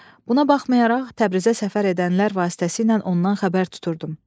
Buna baxmayaraq, Təbrizə səfər edənlər vasitəsilə ondan xəbər tuturdum.